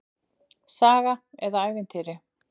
Saga eða ævintýri.